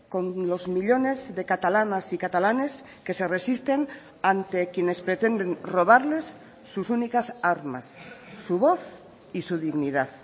con los millónes de catalanas y catalanes que se resisten ante quienes pretenden robarles sus únicas armas su voz y su dignidad